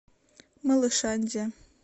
малышандия